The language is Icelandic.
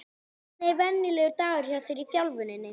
Hvernig er venjulegur dagur hjá þér í þjálfuninni?